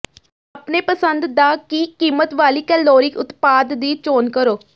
ਆਪਣੇ ਪਸੰਦ ਦਾ ਕੀ ਕੀਮਤ ਵਾਲੀ ਕੈਲੋਰੀ ਉਤਪਾਦ ਦੀ ਚੋਣ ਕਰੋ